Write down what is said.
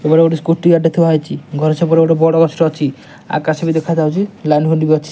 ଏପଟେ ଗୋଟେ ସ୍କୁଟି ଗାଡି ଟେ ଥୁଆ ହେଇଚି ଘର ସେପଟେ ଗୋଟେ ବଡ଼ ବସ୍ ଅଛି ଆକାଶ ବି ଦେଖା ଯାଉଚି ଲାଲ୍ ହୁଣ୍ଡୀ ବି ଅଛି।